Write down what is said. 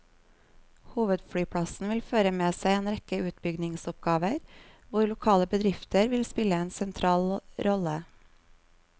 Hovedflyplassen vil føre med seg en rekke utbyggingsoppgaver, hvor lokale bedrifter vil spille en sentral rolle.